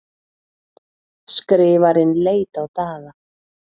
Skrifarinn leit á Daða.